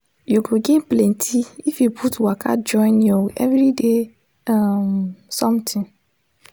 you go gain plenty if you put waka join your everyday um something